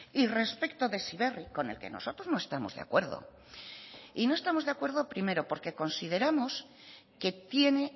y respecto de heziberri con el que nosotros no estamos de acuerdo y no estamos de acuerdo primero porque consideramos que tiene